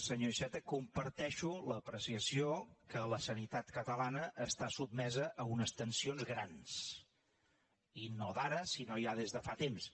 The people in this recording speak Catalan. senyor iceta comparteixo l’apreciació que la sanitat catalana està sotmesa a unes tensions grans i no d’ara sinó ja des de fa temps